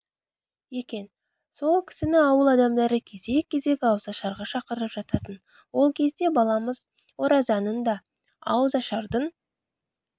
екен сол кісіні ауыл адамдары кезек-кезек ауызашарға шақырып жататын ол кезде баламыз оразаның да ауызашардың